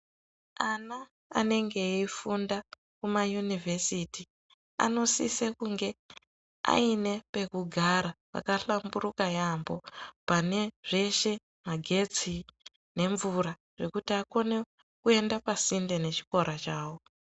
Ana anenge eifunda kunaunivhesiti anosisa kunge ane pekugara pakahlamburuka yampho pane zveshe magetsi nemvura kuti akone kuenda pasinde nechikora chawo.